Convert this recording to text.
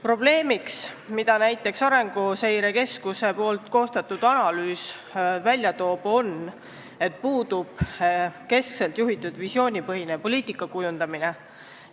Probleem, mille näiteks Arenguseire Keskuse koostatud analüüs välja toob, on, et puudub keskselt juhitud visioonipõhine poliitika kujundamine.